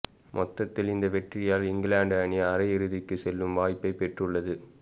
மொத்தத்தில் இந்த வெற்றியால் இங்கிலாந்து அணி அரையிறுதிக்கு செல்லும் வாய்ப்பை பெற்றுள்ளது